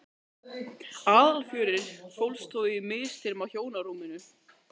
Aðalfjörið fólst þó í að misþyrma hjónarúminu.